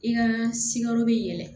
I ka sika be yɛlɛ